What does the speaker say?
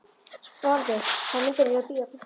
Sporði, hvaða myndir eru í bíó á fimmtudaginn?